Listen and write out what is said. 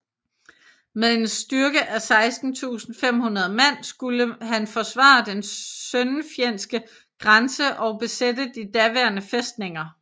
Med en styrke af 16500 mand skulle han forsvare den søndenfjeldske grænse og besætte de daværende fæstninger